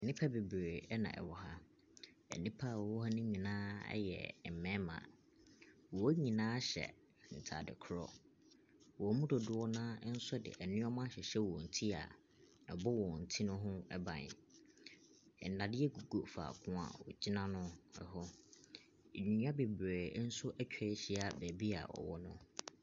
Nipa bebree ɛna ɛwɔ ha. Na nipa ɛwɔ ha no nyinaa ɛyɛ mbɛɛma. Wɔn nyinaa hyɛ ntaade korɔ. Wɔn mu dodoɔ naa ɛnso de nnoɔma ahyehyɛ wɔn ti a ɛbɔ wɔn ti ne ho ɛban. Ndadeɛ gugu faako wogyina no ɛho. Ndua bebree nso etwa ehyia beebi ɔwɔ no.